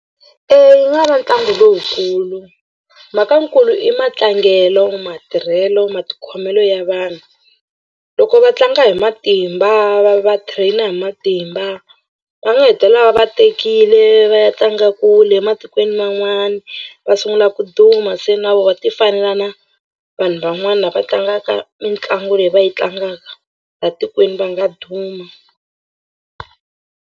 Eya yi va ntlangu lowukulu mhakankulu i matlangelo matirhelo matikhomelo ya vanhu. Loko va tlanga hi matimba va va trainer hi matimba va nga hetelela va va tekile va ya tlanga kule ematikweni man'wana va sungula ku duma se na vona va tifanela na vanhu van'wani lava va tlangaka mitlangu leyi va yi tlangaka laha tikweni va nga duma.